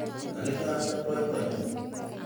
Kakitaach ak boiboiyet